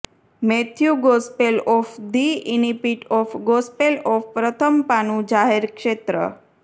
Matthew gospel of the incipit of gospel of પ્રથમ પાનું જાહેર ક્ષેત્ર